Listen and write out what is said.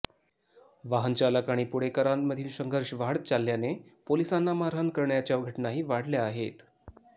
वाहनचालक आणि पुणेकरांमधील संघर्ष वाढत चालल्याने पोलिसांना मारहाण करण्याच्या घटनाही वाढल्या आहेत